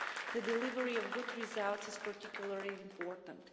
The delivery of good results is particularly important.